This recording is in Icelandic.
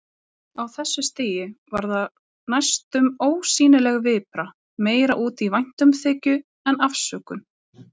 Á þessu stigi var það næstum ósýnileg vipra, meira út í væntumþykju en afsökun.